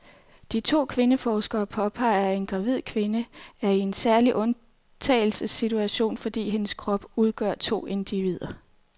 De to kvindeforskere påpeger, at en gravid kvinde er i en særlig undtagelsessituation, fordi hendes krop udgør to individer.